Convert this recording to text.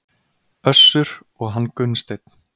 Össur og hann Gunnsteinn.